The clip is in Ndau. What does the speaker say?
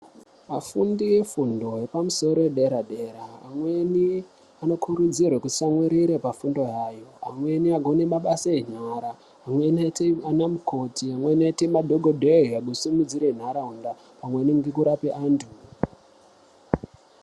Vafundi vefundo yepamusoro yedera dera amweni vanokurudzirwa kuti vatsamwirire pafundo yavo amweni agone mabasa ekunyora amweni aite ana mukoti amweniaite madhokodheya kusumudzire nharaunda maningi kurape antu.